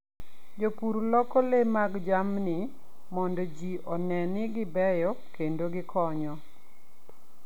Jopur loko le mag jamni mondo ji one ni gibeyo kendo gikonyo.